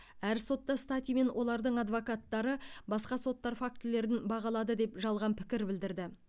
әр сотта стати мен олардың адвокаттары басқа соттар фактілерін бағалады деп жалған пікір білдірді